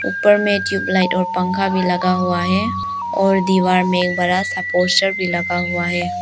उपर में ट्यूबलाइट और पंखा भी लगा हुआ है और दीवार में एक बड़ा पोस्टर भी लगा हुआ है।